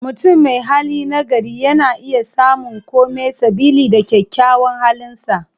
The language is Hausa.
Mutum mai hali nagari, yana iya samun kome sabili da kyakyawan halinsa.